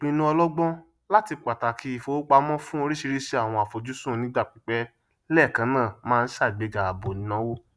ìpìnnu ọlọgbọn latí pàtàkì ìfowópamọn fún óríṣiríṣi àwọn àfojúsùn onígbà pípẹ lẹẹkan náà máa ṣàgbéga àbò ìnáwó